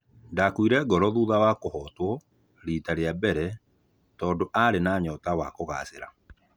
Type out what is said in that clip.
Ndakuire ngoro thutha wa kũhotwo rita rĩa mbere tondũ arĩ na nyota wa kũgacĩra.